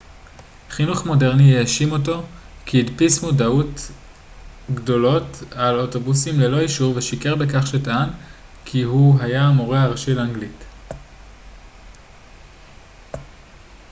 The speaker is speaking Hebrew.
חינוך מודרני האשים אותו כי הדפיס מודעות גדולות על אוטובוסים ללא אישור ושיקר בכך שטען כי הוא היה המורה הראשי לאנגלית